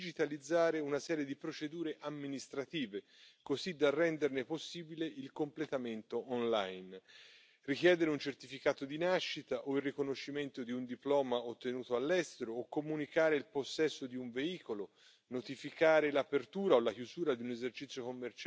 Les États membres devront veiller à ce que tous les services administratifs définis par le texte soient disponibles entièrement en ligne, sans discrimination, dans au moins une langue étrangère, et fournir les liens et informations à la Commission. Ce guichet unique numérique paraît être une bonne idée. Mais à qui s'adresse ce texte?